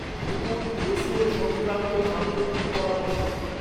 Google SEO সঙ্ক্রান্ত সাম্প্রতিক পরামর্শ